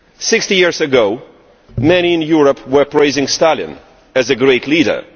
Sixty years ago, many in Europe were praising Stalin as a great leader.